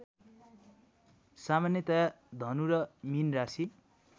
सामान्यतया धनु र मीन राशि